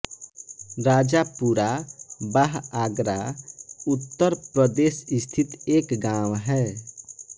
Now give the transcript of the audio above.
राजापुरा बाह आगरा उत्तर प्रदेश स्थित एक गाँव है